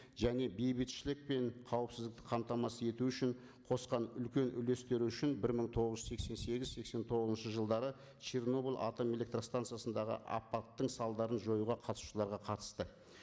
және бейбітшілік пен қауіпсіздікті қамтамасыз ету үшін қосқан үлкен үлестері үшін бір мың тоғыз жүз сексен сегіз сексен тоғызыншы жылдары чернобыль атом электростанциясындағы апаттың салдарын жоюға қатысушыларға қатысты